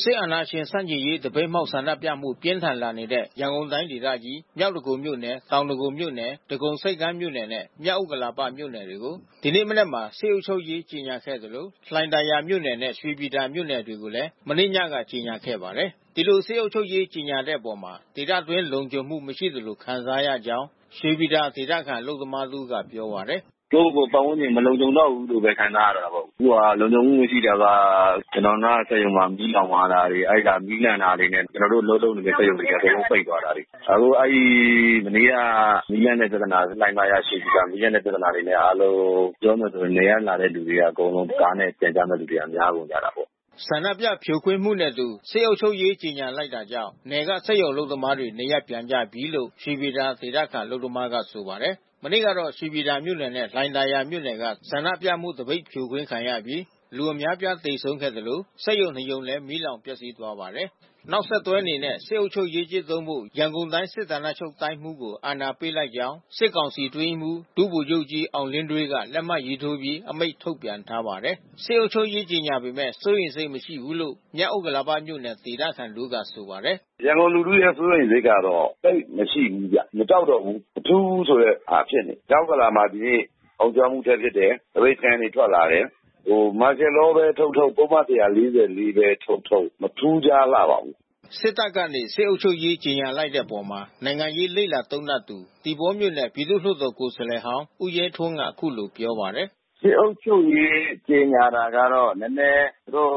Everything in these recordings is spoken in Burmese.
စစ်အာဏာရှင်ဆန့်ကျင်ရေး သပိတ်မှောက်ဆန္ဒပြမှု ပြင်းထန်လာနေတဲ့ ရန်ကုန်တိုင်းဒေသကြီး မြောက်ဒဂုံမြို့နယ်၊ တောင်ဒဂုံမြို့နယ်၊ ဒဂုံဆိပ်ကမ်းမြို့နယ်နဲ့ မြောက်ဥက္ကလာပ မြို့နယ်တွေကို ဒီနေ့မနက်မှာ စစ်အုပ်ချုပ်ရေး ကြေညာခဲ့သလို လှိုင်သာယာမြို့နယ်နဲ့ ရွှေပြည်သာမြို့နယ်တွေကိုလည်း မနေ့ညက ကြေညာခဲ့ပါတယ်။ ဒီလိုစစ်အုပ်ချုပ်ရေးကြေညာလိုက်တဲ့အပေါ် ဒေသအတွင်း လုံခြုံမှုမရှိသလို ခံစားရကြောင်း ရွှေပြည်သာဒေသခံ အလုပ်သမား တဦးကပြောပါတယ်။ “ကိုယ့်ကိုယ်ကို ပတ်ဝန်းကျင်မလုံခြုံတော့ဘူးလို့ ခံစားရတာပေါ့။ အခုဟာက လုံခြုံရေး မရှိတာက ကျနော်တို့နားက စက်ရုံတွေ မီးလောင်သွားတာတွေ၊ အဲဒီမှာ မီးလန့်တာတွေနဲ့ ကျနော်တို့ အလုပ်လုပ်နေတဲ့ စက်ရုံတွေ အကုန်လုံး ပိတ်သွားတာ။ အခုအဲဒီ မနေ့ညက မီးလန့်တဲ့ပြဿနာ လှိုင်သာယာ၊ ရွှေပြည်သာ မီးလန့်တဲ့ပြဿနာတွေနဲ့ အားလုံး ပြောမယ်ဆိုရင် နယ်ကလာတဲ့ လူတွေအကုန်လုံး ကားနဲ့ ပြန်ကြတဲ့သူတွေ များနေတာပေါ့။” ဆန္ဒပြဖြိုခွင်းမှုနဲ့အတူ စစ်အုပ်ချုပ်ရေးကြေညာလိုက်တာကြောင့် နယ်က စက်ရုံအလုပ်သမားတွေ နေရပ်ပြန်ကြပြီလို့ ရွှေပြည်သာဒေသခံ အလုပ်သမားကဆိုပါတယ်။ မနေ့ကတော့ ရွှေပြည်သာမြို့နယ်နဲ့ လှိုင်သာယာမြို့က ဆန္ဒပြမှု သပိတ်ဖြိုခွင်းခံရပြီး လူအများပြားသေဆုံးခဲ့သလို စက်ရုံနှစ်ရုံလည်း မီးလောင်ပျက်စီးသွားပါတယ်။ နောက်ဆက်တွဲအနေနဲ့ စစ်အုပ်ချုပ်ရေးကျင့်သုံးဖို့ ရန်ကုန်တိုင်း စစ်ဌာနချုပ်တိုင်းမှူးကို အာဏာပေးလိုက်ကြောင်း စစ်ကောင်စီအတွင်းရေးမှူး ဒုဗိုလ်ချုပ်ကြီး အောင်လင်းဒွေးက လက်မှတ်ထိုးပြီး အမိန့်ထုတ်ပြန်ထားပါတယ်။ စစ်အုပ်ချုပ်ရေးကြေညာပေမဲ့ စိုးရိမ်စိတ်မရှိဘူးလို့ မြောက်ဥက္ကလာပမြို့နယ်ဒေသခံတဦးကဆိုပါတယ်။ “ရန်ကုန်လူထုရဲ့ စိုးရိမ်စိတ်ကတော့ သိပ်မရှိဘူးဗျ။ မကြောက်တော့ဘူး၊ မထူးဘူးဆိုတဲ့ ဟာဖြစ်နေတယ်။ မြောက်ဥက္ကလာမှာ ဒီနေ့ အုံကြွမှုဆက်ဖြစ်တယ်။ သပိတ်တန်းတွေ ထွက်လာတယ်။ ဟို Martial Law ပဲထုတ်ထုတ်၊ ပုဒ်မ ၁၄၄ ပဲ ထုတ်ထုတ်။ မထူးခြားလှပါဘူး။” စစ်တပ်ကနေ စစ်အုပ်ချုပ်ရေးကြေညာလိုက်တဲ့အပေါ် နိုင်ငံရေးလေ့လာသုံးသပ်သူ သီပေါပြည်သူလွှတ်တော် ကိုယ်စားလှယ်ဟောင်းဦးရဲထွန်းက အခုလိုပြောပါတယ်။ “စစ်အုပ်ချုပ်ရေးကြေညာတာကတော့ နည်းနည်း သူတို့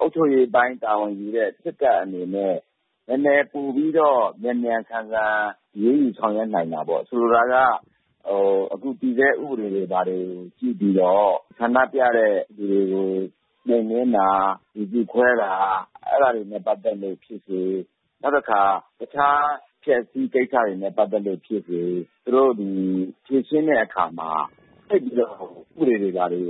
အုပ်ချုပ်ရေးအပိုင်းတာဝန်ယူတဲ့ စစ်တပ်အနေနဲ့ နည်းနည်းပိုပြီးတော့ မြန်မြန်ဆန်ဆန် အရေးယူဆောင်ရွက်နိုင်မှာပေါ့။ ဆိုလိုတာက အခုတည်ဆဲဥပဒေတွေဘာတွေ ရှိပြီးတော့ ဆန္ဒပြတဲ့ သူတွေကို နှိမ်နင်းတာ၊ လူစုခွဲတာ အဲဒါတွေနဲ့ ပတ်သက်လို့ ဖြစ်စေ။ နောက်တခါ တခြားအဖျက်အစီးကိစ္စတွေနဲ့ ပတ်သက်လို့ ဖြစ်စေ။ သူတို့ ဖြေရှင်းတဲ့အခါမှာ သိပ်ပြီးတော့ ဥပဒေတွေ၊ ဘာတွေ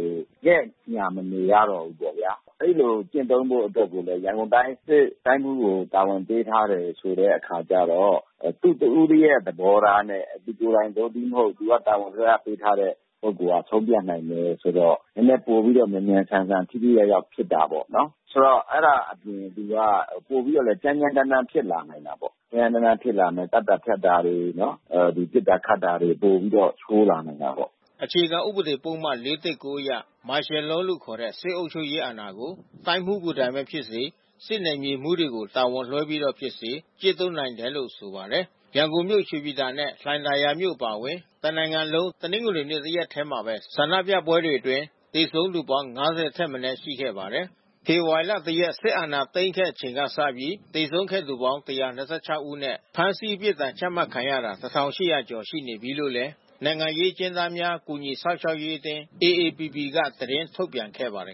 ငဲ့ညှာမနေရတော့ဘူးပေါ့ဗျာ။ အဲဒီလိုကျင့်သုံးဖို့အတွက်ကိုလည်း ရန်ကုန်တိုင်း စစ်တိုင်းမှူးကိုတာဝန်ပေးထားတယ်ဆိုတဲ့အခါကျတော့ သူ့တဦးတည်းသော သဘောထားနဲ့ သူကိုယ်တိုင်သို့တည်းမဟုတ် သူကတာဝန်လွှဲအပ်ပေးထားတဲ့ ပုဂ္ဂိုလ်တွေက ဆုံးဖြတ်နိုင်တယ်ဆိုတော့ နည်းနည်းပိုပြီးတော့ မြန်မြန်ဆန်ဆန် ထိထိရောက်ရောက်ဖြစ်တာပေါ့နော်။ ဆိုတော့အဲဒါအပြင်သူက ပိုပြီးတော့လည်း ကြမ်းကြမ်းတန်းတန်းဖြစ်လာနိုင်တာပေါ့။ ကြမ်းကြမ်းတန်းတန်းဖြစ်လာမယ်၊ သတ်တာဖြတ်တာတွေ၊ ပစ်တာခတ်တာတွေ ပိုပြီးတော့ ဆိုးလာနိုင်တာပေါ့။” အခြေခံဥပဒေပုဒ်မ ၄၁၉ အရ Martial Law လို့ခေါ်တဲ့ စစ်အုပ်ချုပ်ရေးအာဏာကို တိုင်းမှူးကိုယ်တိုင်ပဲဖြစ်ဖြစ်၊ စစ်နယ်မြေမှူးတွေကို တာဝန်လွှဲပြီးတော့ပဲဖြစ်ဖြစ် ကျင့်သုံးနိုင်တယ်လို့ ဆိုပါတယ်။ ရန်ကုန်မြို့ ရွှေပြည်သာနဲ့ လှိုင်သာယာအပါအဝင် မြန်မာတနိုင်ငံလုံး တနင်္ဂနွေ တရက်ထဲမှာပဲ ဆန္ဒပြပွဲတွေအတွင်း သေဆုံးသူပေါင်း ၅၀ ထက်မနည်းရှိခဲ့ပါတယ်။ ဖေဖေါ်ဝါရီလ ၁ ရက် စစ်တပ်အာဏာသိမ်းခဲ့ချိန်ကစပြီး သေဆုံးခဲ့ရသူ ၁၂၆ ဦးနဲ့ ဖမ်းဆီး အပြစ်ဒဏ်ချမှတ်တာခံရသူ ၂,၀၀၀ ကျော်ရှိနေပြီလို့လည်း နိုင်ငံရေးအကျဉ်းသားများ ကူညီစောင့်ရှောက်ရေးအသင်း AAPP က သတင်းထုတ်ပြန်ခဲ့ပါတယ်